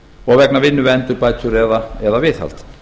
og vegna vinnu við endurbætur eða viðhald